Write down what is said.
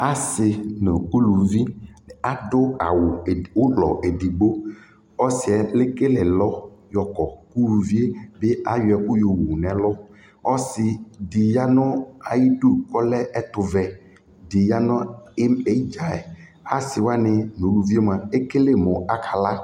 asii nʋ ʋlʋvi adʋ awʋ ʋlɔ ɛdigbɔ, ɔsiiɛ ɛkɛlɛ ɛlʋ yɔkɔ, ʋlʋviɛ bi ayɔ ɛkʋ yɔwʋ nʋɛlʋ, ɔsii di yanʋ ayidʋ kʋ ɔlɛ ɛtʋvɛ di yanʋ ɛmadzaɛ, asii waninʋʋlʋviɛ mʋa ɛkɛlɛ mʋ akala